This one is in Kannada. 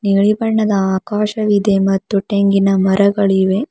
ನೀಲಿ ಬಣ್ಣದ ಆಕಾಶವಿದೆ ಮತ್ತು ತೆಂಗಿನ ಮರಗಳು ಇವೆ.